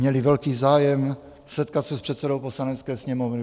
Měli velký zájem setkat se s předsedou Poslanecké sněmovny.